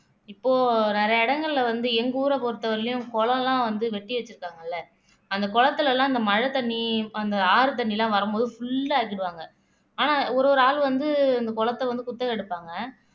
இப்போ நிறைய இடங்கள்ல வந்து எங்க ஊரை பொறுத்த வரையிலும் குளம் எல்லாம் வந்து வெட்டி வச்சிருக்காங்கல்ல அந்த குளத்தில எல்லாம் அந்த மழைத் தண்ணி அந்த ஆறு தண்ணி எல்லாம் வரும்போது full ஆ ஆக்கிருவாங்க ஆனா ஒரு ஒரு ஆள் வந்து இந்த குளத்தை வந்து குத்தகை எடுப்பாங்க